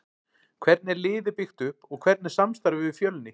Hvernig er liðið byggt upp og hvernig er samstarfið við Fjölni?